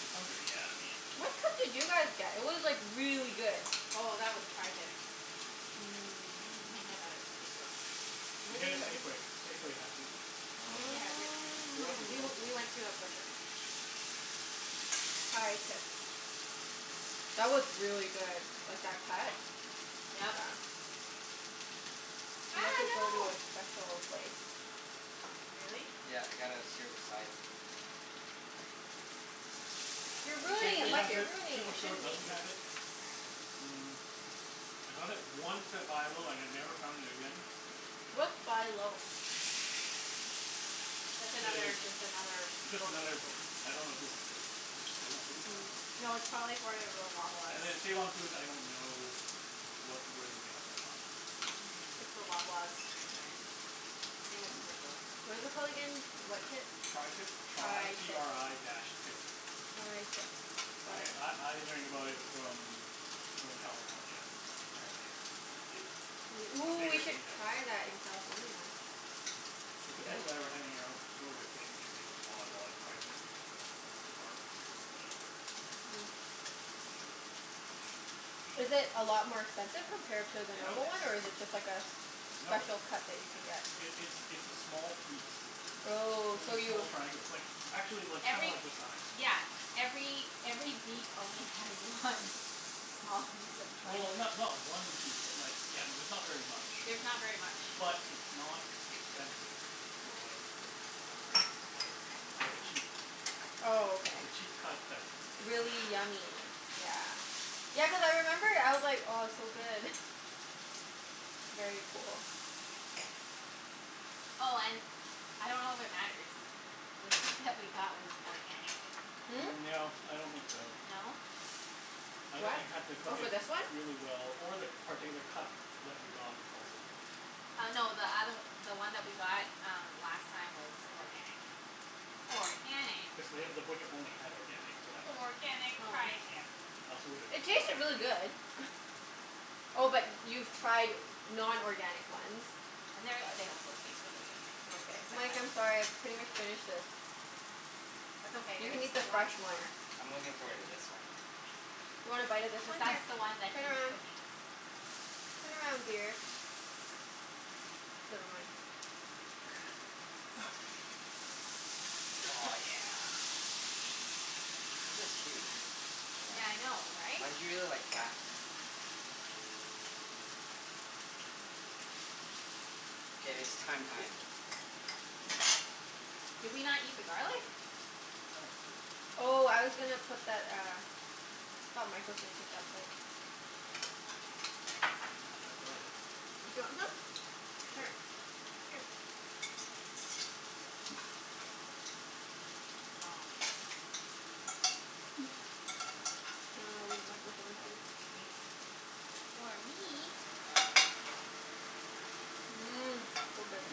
to some degree, yeah. I mean What cut did you guys get? It was like really good. Oh, that was tri-tip. You can't Mmm. get that at Superstore. You can Where do get you it have at w- Safeway. Safeway has it. Safeway has it. Um We Oh. we went to a butcher. tri-tips. That was really good. Like, that cut. Yeah. Yep. You have Ah, to go to no. a special place. Really? Yeah, you gotta sear the sides and You're You ruining shouldn't it, Safeway need Mike, has to. you're it. ruining it. You Superstore shouldn't need doesn't to. have it. Mm I got it once at Buy Low and I never found it again. What's Buy Low? That's I- it's another, just another just grocery another store. I don't know who owns it. Is it Save on Foods? I Mm. Hmm. dunno. No, it's probably for Loblaws. And then Save on Foods, I don't know what, whether they have it or not. It's the Loblaws franchise. Same as Superstore. What is it called again? What tip? tri-tip. Tri t tri-tip. r i dash tip. tri-tip. I Got it. I I learned about it from people in California cuz apparently it's i- it's We, a ooh, we bigger should thing down there. try that in California. It's the people I were hanging arou- out with. They they they bought a lot of tri-tip. To barbecue or whatever. Yeah. Is it a lot more expensive compared to the Yeah, a No. normal one, or miss. is it just like a s- No. special cut that you can get? It it's it's a small piece. It's Oh, only so a small you triangle. It's like actually like, kinda Every like this size. Yeah, every every beef only has one small piece of tri- Well, ti- not not one piece, but like, yeah, it's not very much. There's not very much. But it's not expensive. For whatever wer- wer- whatever whatever reason. It's like a cheap Oh, okay. it's a cheap cut that's tasty. Really yummy. Yeah. Yeah, cuz I remember I was like, "Oh, it's so good." Very cool. Oh and, I don't know if it matters the steak that we got was organic. Hmm? No, I don't think so. No? I think What? you happened to Oh, cook for it this one? really well or the particular cut that we got was also good. Uh no, the othe- the one that we got um last time was organic. Organic. Cuz they, the butcher only had organic for that one. Organic tri-tip. I also It tasted really good. Oh, but y- Yeah. you've tried non-organic ones? And they're, they also taste really good. Oh, They okay. taste like Mike, that I'm sorry. I've pretty much finished this. That's okay, You there's can eat the lots fresh one. more. I'm looking forward to this one. You wanna bite of this Cuz one? Here. that's the one that Turn he's around. cooking. Turn around, dear. Never mind. Oh, yeah. This is huge. Yeah. Yeah, I know, right? Mine's usually like half K, it's thyme time. Did we not eat the garlic? Oh. Oh, I was gonna put that uh Thought Mike was gonna take that plate. We have garlic. Do you want some? Sure. Sure. Here. Great. Noms. Ah, I'll leave Mike with one Oh, piece. sorry. Or me. Mmm. So good. Mmm.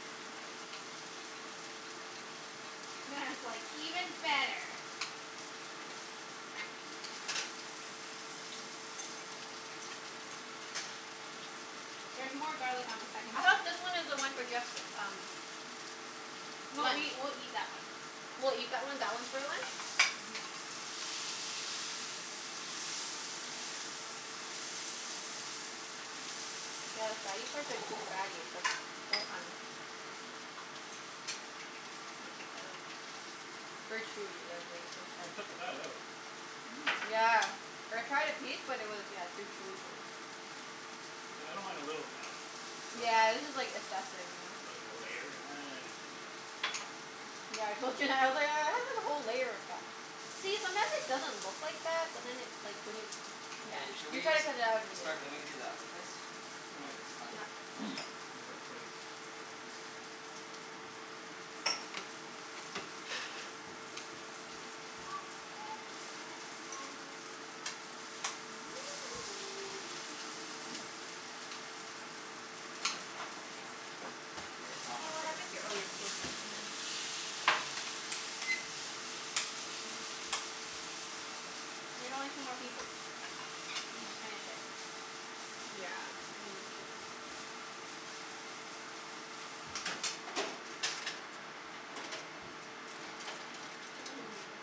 Mmm. That's like even better. There's more garlic on the second I hope this steak. one is the one for guests, um No, we lunch. we'll eat that one. We'll eat that one. That one's for lunch? Mhm. Yeah, the fatty parts are too fatty. It's like Let me take that out. Very chewy the the You part. can cut the fat out. Mhm. Yeah. I tried a piece but it was, yeah, too chewy for me. Like, I don't mind a little fat. But Yeah, this is like like assessive, you know? like a layer? I don't know. Yeah, I told Junette. I was like, "Oh, it has like a whole layer of fat." See? Sometimes it doesn't look like fat, but then it like, when you, yeah Hey, should you we try s- to cut it out and it start moving isn't to the other place? When this is done? Yeah. Yeah. move our plates. Thanks. K, it's Hun, almost what ready. happened to your, oh your coaster's right here. There's only two more pieces. You just finish it. Yeah, and then can you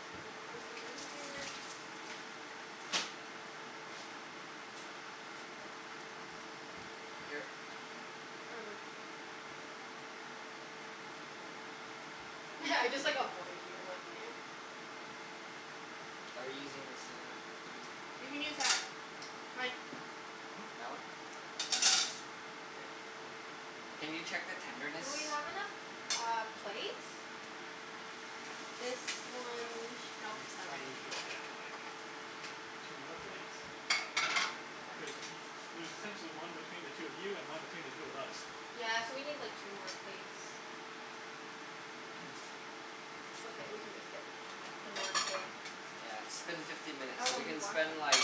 Just let me put this over here. Here. Why, what I just like avoid you. I'm like Are you using the same, oh You can use that. Mike. Hmm? That one? K. Can you check the tenderness? Do we have enough uh, plates? This one Nope, We it's not ready. probably should K. get like two more plates? I dunno. Yeah, Cuz sure. y- there's essentially one between the two of you and one between the two of us. Yeah, so we need like two more plates. It's okay, we can just get a non-plate. Yeah, it's been fifteen minutes. Oh So no, we he can washed spend like, it.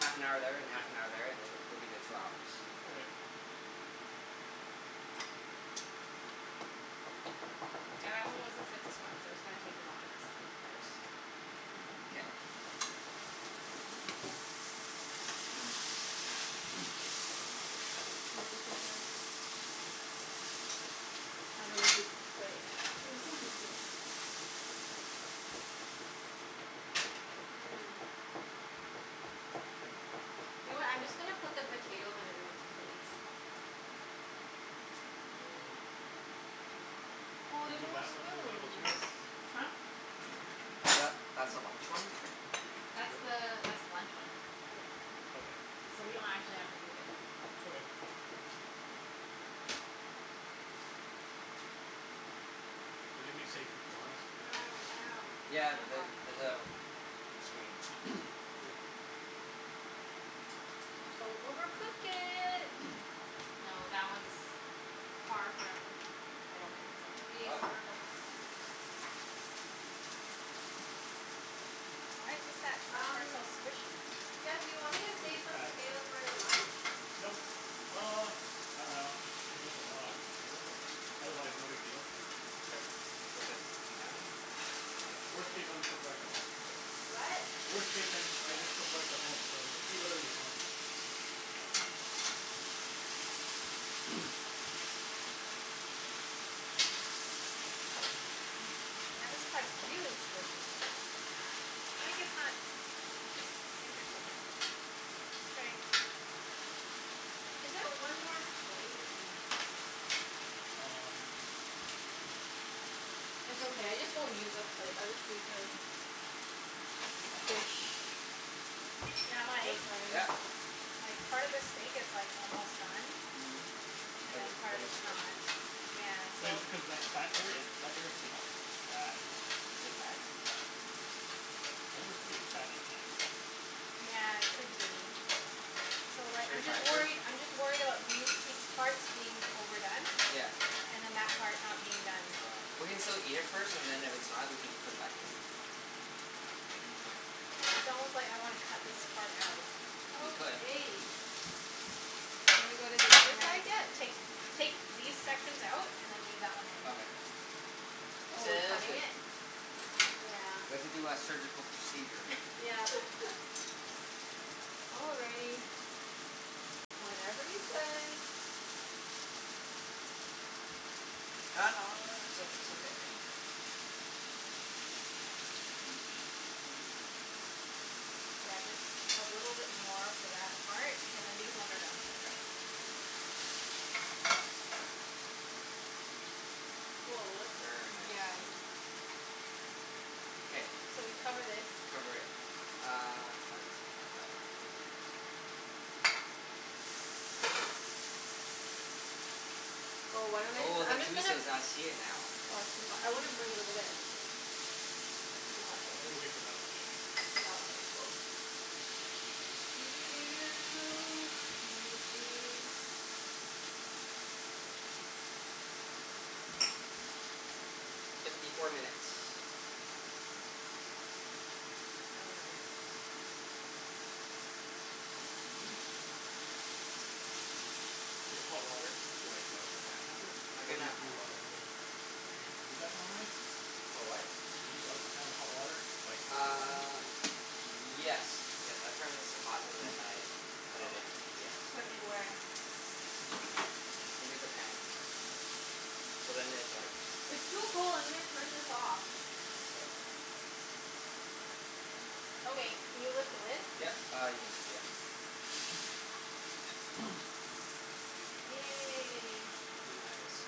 half an hour there and Yeah. half an hour there, and th- that'll be the two hours. Okay. Yeah, that one was the sickest one so it's gonna take the longest. Longest? Oh, this is their I dunno whose plate this one would be. Mhm. You know what? I'm just gonna put the potatoes on everyone's plates. Excuse me. Oh, Should there's we no move more that one to the table too, spoons. or no? Huh? Tha- that's the Y- lunch one. That's Sure. the that's the lunch one. Yeah. Okay, so we So we leave it? don't actually have to move it. Okay. Is it gonna be safe from flies? Ow, ow. It's Yeah, kinda th- hot. there's a screen. Good. Don't overcook it. No, that one's far from, I don't think so. Being Ah, overcooked? just a minute. Why is this at, that part's Um, so squishy? Jeff, do you want me to a save some fat. potatoes for your lunch? Nope. K. Uh, I dunno. If there's a lot, sure, but otherwise Okay. no big deal. Just flip it now. Yeah. Worst case, I'll just cook rice at home, so What? Worst case I just I just cook Nice. rice at home, so just eat whatever you want. Okay. Yeah, this part's really squishy. Oh, I guess not Oh. Interesting. Is there one more plate? Hmm. Um It's okay. I just won't use a plate. I'll just use this. Dish. Yeah, Oh, Mike? sorry. Yeah. Like, part of this steak is like, almost done. Mhm, And but then part then of it's it's not. squishy. Yeah, so But is it cuz that's fat area? That area could be fat. Is it fat? I think this could be a fatty piece. Yeah, it could be. So like Should we I'm just try some? worried, I'm just worried about these pie- parts being overdone. Yeah. And then that part not being done. Ah. We can still eat it first, and then if it's not we can just put it back in. Mm, it's it's almost like I wanna cut this K. part out. We could. Okay. Shall we go to the other And then side yet? take take these sections out and then leave that one in. Okay. Oh, we're Sounds cutting good. it? Yeah. We have to do a surgical procedure. Yep. All righty. Whatever you say. It's o- it's okay. Yeah, just a little bit more for that part and then these ones are done. Mkay. Woah, that's, Very nice. yeah, I thi- K. So we cover this. Cover it. Uh, I got it here. Oh, why don't I just, Oh, the I'm just gonna juices. I see it now. Oh, it's too hot. I wanna bring it over there. Mhm. Too hot, though. I'm gonna wait for that one, I think. Oh, okay. Cool. Let me see. Fifty four minutes. No worries. Do you have hot water to like, douse the pan after? I Or can y- have do hot you water. normally Do you do that normally? For what? Do you douse the pan with hot water like Uh, yes. Yes. I turn this to hot and then I put Oh. it in. Yeah. Put in where? Into the pan. Into the pan. So then it like It's too cold. I'm gonna turn this off. K. Okay, can you lift the lid? Yep. Uh, you can, yep. Yay. Nice.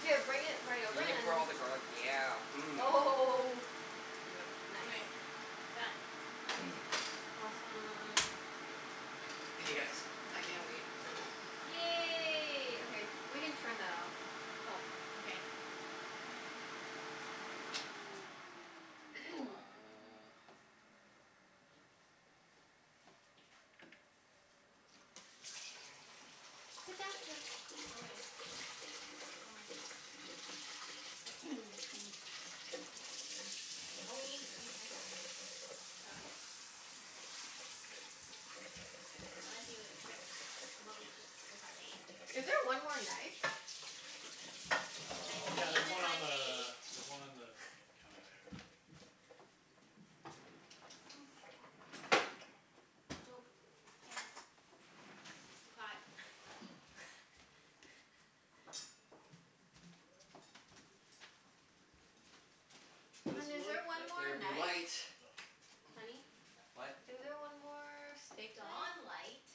Here, bring it right over We and can then put all the garlic, yeah. Mmm. Oh Yep. Nice. Okay. Done. K. Awesome. Okay guys, I can't wait. Yay. Okay. We can turn that off. Oh, okay. So uh Sit down, yeah. Oh eh. Where am I sitting? Mm. Mm. Mm. Mm. Oh, Mm. we need utensils. Oh, yeah. Oh, yes. Unless you expect, you want me to eat with my face. Is there one more knife? I Uh, can yeah, eat there's with one my on face. the, there's one on the counter there. Nope. Can't. Too hot. Is this Hun, is there one Let more there be light. knife? Oh. Honey? What? Is there one more steak Dawn knife? light.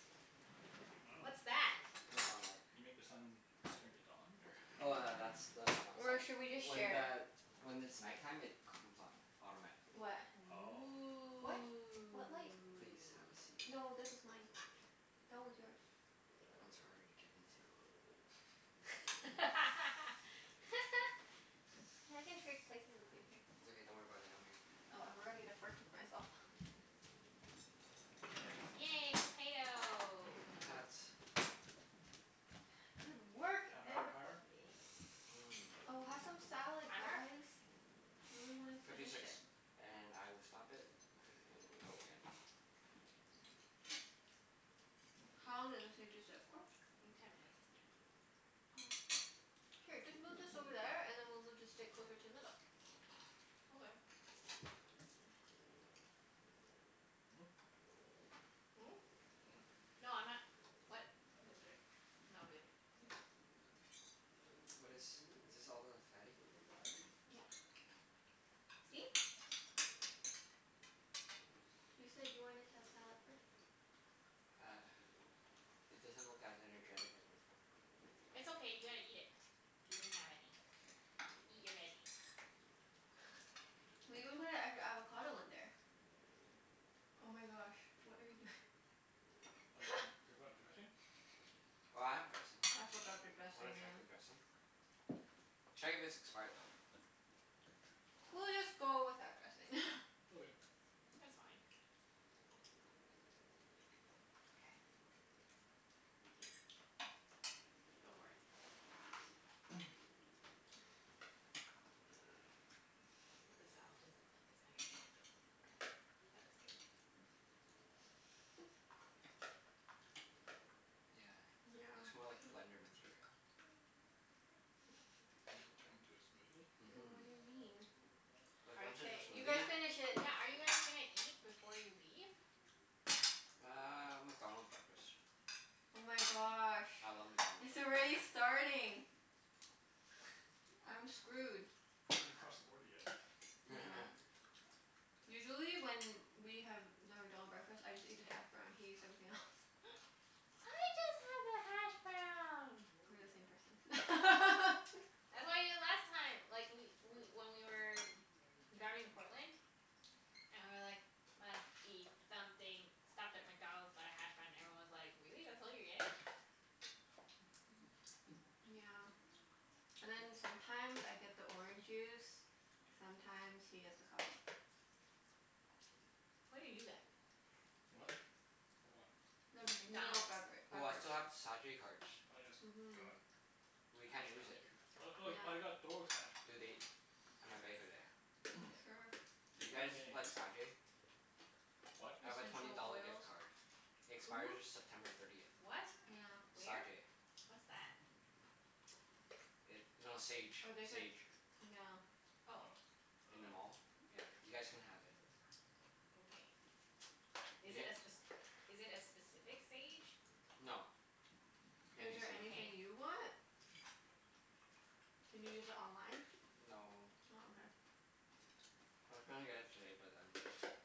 I dunno. What's that? What dawn light? You make the sun turn to dawn, or Oh tha- that's the one Or outside. should we just When share? the, when it's night time, it comes on. Automatically. What? Oh. What? What light? Please, have a Ooh. seat. No, this is mine. That one's yours. That one's harder to get into. Hey, I can trade places with you. Here. It's okay. Don't worry about it. I'm here. Oh, I forgot to get a fork for myself. Yay, potato. Potat. Good work, Half an hour everybo- timer? ee. Oh, Mmm. have some salad Timer? guys. We really wanna Fifty finish six. it. And I will stop it and go again. How long did this need to sit for? Mm, ten minutes. Oh. Here, just move this over there, and then we'll move the steak closer to the middle. Okay. Hmm? Mm? Hmm. No, I'm not, what? More steak? No, I'm good. Oh. What is, is this all the fatty? Yep. K. See? You said you wanted to have salad first. Uh, it doesn't look as energetic as before. It's okay, you gotta eat it. You didn't have any. K. Eat your veggies. We even put an extra avocado in there. Oh my gosh, what are you doing? forgot dressing? Oh, I have dressing. I forgot the W- wanna dressing, check the yeah. dressing? Check if it's expired though. We'll just go without dressing. Okay. It's fine. Go for it. The salad doesn't look as energetic as before. That was good. Yeah, Yeah. looks more like blender material. You gonna turn it into Mhm. And what a do you mean? smoothie? Cuz Are once it's y- K, a you guys smoothie finish yeah, it. yeah, are you guys gonna eat before you leave? Uh, McDonald's breakfast. Oh my gosh. I love McDonald's It's already breakfasts. starting. I'm screwed. You haven't even crossed the border yet. Yeah. Usually when we have the McDonald breakfast, I just eat the hash brown. He eats everything else. I just have the hashbrown. We're the same person. I had them the last time like, we we when we were driving to Portland. And we were like, "Must eat something." Stopped at McDonald's, got a hash brown, and everyone was like, "Really? That's all you're getting?" Yeah. And then sometimes I get the orange juice. Mhm. Sometimes he gets the coffee. What do you get? What? For what? The meal McDonald's. bevera- Oh, I beverage. still have the Sa-jay cards. Oh yes, Mhm. god. We A can't hash use brown it. too. Oh oh, I Yeah. got hash Do they browns. That's right. Sure. Do you get guys anything. like Sa-jay? What? I have a twenty Essential dollar oils. gift card. It expires Who? September thirtieth. What? Yeah. Where? Sa-jay. What's that? It, no, Sage. Or they could, Sage. yeah. Oh. Oh. I In the dunno. mall. Yeah, you guys can have it. Okay. You Is it a get spec- is it a specific Sage? no, any Is there Sage. anything you want? Can you use it online? No. Oh, I was gonna get it today, but then